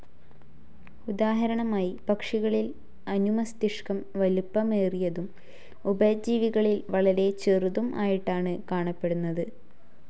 ഉദാഹരണമായി പക്ഷികളിൽ അനുമസ്തിഷ്കം വലിപ്പമേറിയതും ഉഭയജീവികളിൽ വളരെ ചെറുതും ആയിട്ടാണ് കാണപ്പെടുന്നത്.